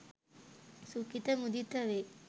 සුඛිත මුදිත වේ.